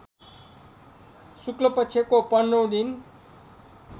शुक्लपक्षको पन्ध्रौँ दिन